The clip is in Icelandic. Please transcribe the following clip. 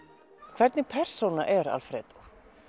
hvernig persóna er Alfredo